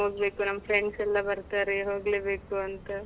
ಹೋಗ್ಬೇಕು ನಮ್ friends ಯೆಲ್ಲಾ ಬರ್ತಾರೆ ಹೋಗ್ಲೆಬೇಕು ಅಂತ.